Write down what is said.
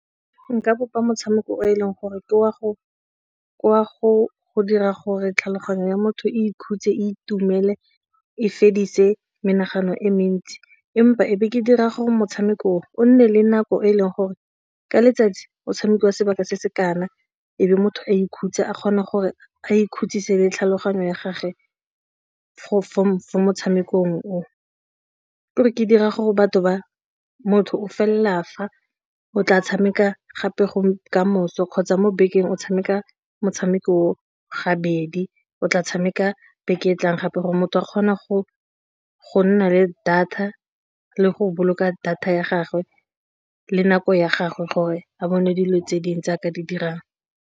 Nka bopa motshameko o e leng gore ke wa go dira gore tlhaloganyo ya motho e ikhutse itumele e fedise menagano e mentsi empa ebe ke dira gore motshamekong o nne le nako e leng gore ka letsatsi o tshamekiwa sebaka se se kana ebe motho a ikhutsa a kgona gore a ikhutsise le tlhaloganyo ya gage motshamekong o gore re ka dira gore batho ba motho o fela fa o tla tshameka gape go kamoso kgotsa mo bekeng o tshameka motshameko ga bedi o tla tshameka beke e tlang gape gore motho a kgona go nna le data le go boloka data ya gagwe le nako ya gagwe gore a bone dilo tse dingwe tse nka di dirang.